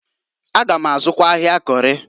A gam azụkwa ahịa Kori.